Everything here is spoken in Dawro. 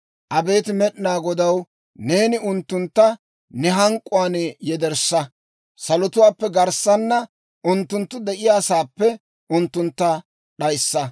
Abeet Med'inaa Godaw, neeni unttuntta ne hank'k'uwaan yederssa, salotuwaappe garssaana unttunttu de'iyaasaappe unttuntta d'ayissa!